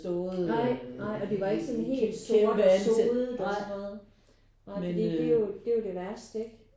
Nej nej og det var ikke sådan helt sort sodet og sådan noget? Nej fordi det er jo det er jo værste ikke?